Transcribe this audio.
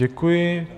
Děkuji.